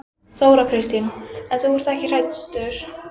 Þóra Kristín: En þú ert ekkert hræddur?